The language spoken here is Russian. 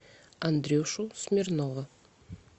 андрюшу смирнова